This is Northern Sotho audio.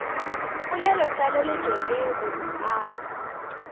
polelotlaleletšo le go a go